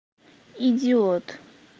идиот